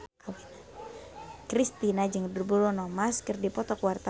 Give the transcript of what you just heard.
Kristina jeung Bruno Mars keur dipoto ku wartawan